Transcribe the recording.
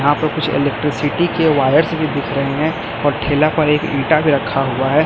आपको कुछ इलेक्ट्रिसिटी के वायर्स भी दिख रहे हैं और ठेला पर एक इटा भी रखा हुआ है।